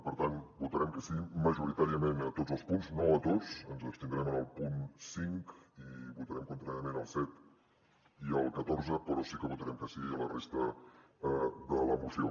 per tant votarem que sí majoritàriament a tots els punts no a tots ens abstindrem en el punt cinc i votarem contràriament al set i al catorze però sí que votarem que sí a la resta de la moció